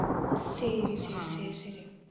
சரி சரி சரி சரி